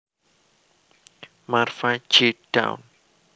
Marva J Dawn